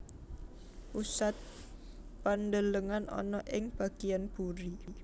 Pusat pandelengan ana ing bagian buri